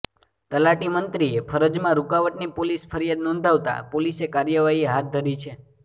તલાટી મંત્રીએ ફરજમાં રૂકાવટની પોલીસ ફરિયાદ નોંધાવતા પોલીસે કાર્યવાહી હાથ ધરી છે